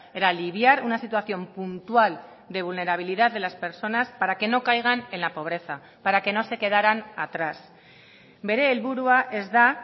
era aliviar una situación puntual de vulnerabilidad de las personas para que no caigan en la pobreza para que no se quedaran atrás bere helburua ez da